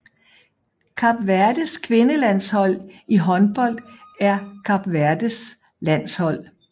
Kap Verdes kvindelandshold i håndbold er Kap Verdes landshold